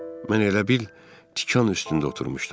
Mən elə bil tikan üstündə oturmuşdum.